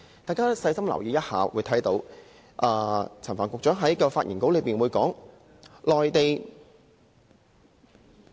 大家細心留意一下，會看到陳帆局長在發言稿內提到，內地......